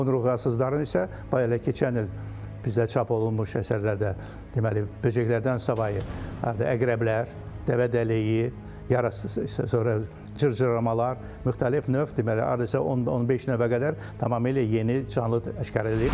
Onurğasızların isə hətta keçən il bizdə çap olunmuş əsərlərdə deməli böcəklərdən savayı harda əqrəblər, dəvədəlləyi, yarası sonra cırcıramalar, müxtəlif növ deməli hardasa 10-15 növə qədər tamamilə yeni canlı aşkar edilmişdi.